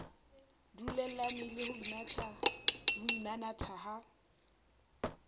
dulellane le ho inanatha ha